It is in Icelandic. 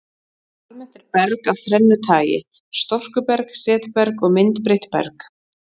Almennt er berg af þrennu tagi, storkuberg, setberg og myndbreytt berg.